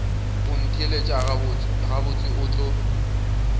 o ntheelet gabotse o tlo